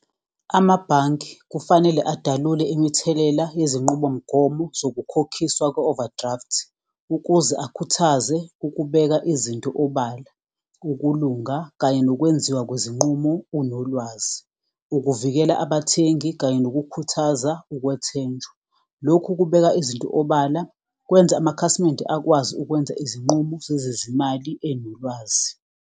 Amabhange kufanele adalule imithelela yezinqubomgomo zokukhokhisa kwe-overdraft ukuze akhuthaze ukubeka izinto obala, ukulunga kanye nokwenziwa kwezinqumo unolwazi, ukuvikela abathengi kanye nokukhuthaza ukwethenjwa. Lokhu kubeka izinto obala kwenza amakhasimende akwazi ukwenza izinqumo zezezimali enolwazi.